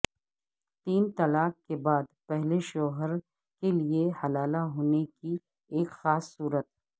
تین طلاق کے بعد پہلے شوہر کے لئے حلال ہونے کی ایک خاص صورت